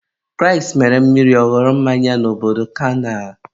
Kraịst mere mmiri ka ọ ghọrọ mmanya n'obodo kana.